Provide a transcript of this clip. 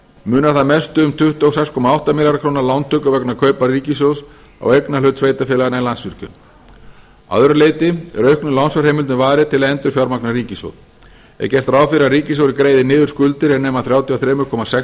munar þar mestu um tuttugu og sex komma átta milljarða króna lántöku vegna kaupa ríkissjóðs á eignarhlut sveitarfélaganna í landsvirkjun að öðru leyti er auknum lánsfjárheimildum varið til að endurfjármagna ríkissjóð er gert ráð fyrir að ríkissjóður greiði niður skuldir er nema þrjátíu og þrjú komma sex